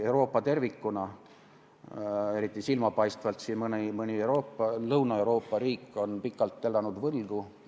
Euroopa tervikuna, eriti silmapaistvalt mõni Lõuna-Euroopa riik, on pikalt elanud võlgu.